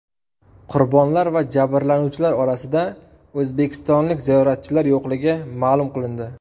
Qurbonlar va jabrlanuvchilar orasida o‘zbekistonlik ziyoratchilar yo‘qligi ma’lum qilindi .